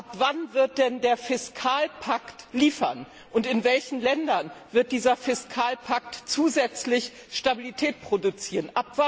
Ab wann wird denn der Fiskalpakt liefern, und in welchen Ländern wird dieser Fiskalpakt zusätzlich Stabilität produzieren?